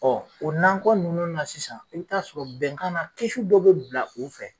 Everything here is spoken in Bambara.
o nakɔ ninnu na sisan, i bi taa sɔrɔ bɛnkan na dɔ be bila o fɛ